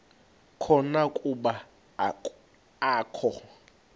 khona kuba akakho